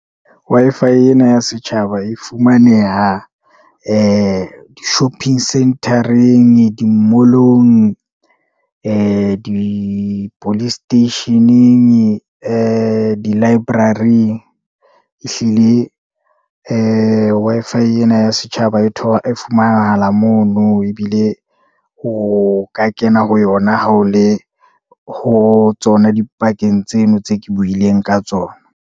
Wi-Fi ena ya setjhaba e fumaneha ee di-shopping centre-reng, di-mall-ong, ee di-police station-eng, ee di-library-ing. Ehlile ee Wi-Fi ena ya setjhaba e fumanahala mono, ebile o ka kena ho yona ha o le ho tsona dipakeng tseno tse ke buileng ka tsona.